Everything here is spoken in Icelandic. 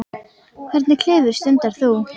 Hvernig klifur stundar þú?